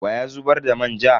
Wa ya zubar da manja?